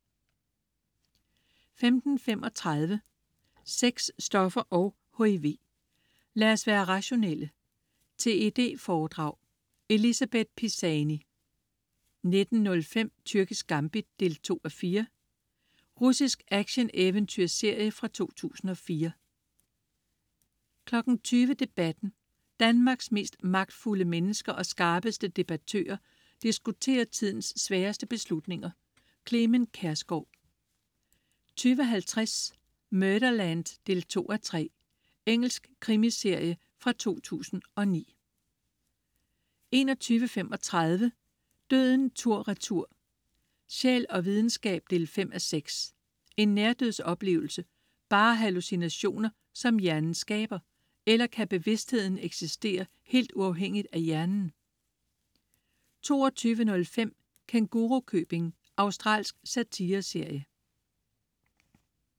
15.35 Sex, stoffer og HIV. Lad os være rationelle. TED foredrag. Elisabeth Pisani 19.05 Tyrkisk gambit 2:4. Russisk action-eventyrserie fra 2004 20.00 Debatten. Danmarks mest magtfulde mennesker og skarpeste debattører diskuterer tidens sværeste beslutninger. Clement Kjersgaard 20.50 Murderland 2:3. Engelsk krimiserie fra 2009 21.35 Døden tur/retur. Sjæl og videnskab 5:6. Er nærdødsoplevelser bare hallucinationer, som hjernen skaber? Eller kan bevidstheden eksistere helt uafhængigt af hjernen? 22.05 Kængurukøbing. Australsk satireserie